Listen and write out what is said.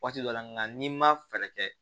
Waati dɔ la nka n'i ma fɛɛrɛ kɛ